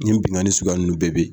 Nin binkani sugya ninnu bɛɛ bɛ yen.